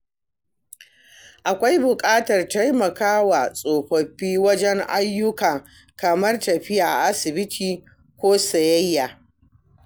Akwai buƙatar taimaka wa tsofaffi wajen ayyuka kamar tafiya asibiti ko sayayya.